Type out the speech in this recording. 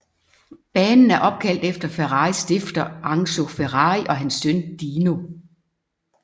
Banen er opkaldt efter Ferraris stifter Enzo Ferrari og hans søn Dino